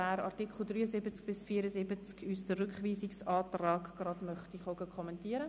Möchte er den Rückweisungsantrag kommentieren?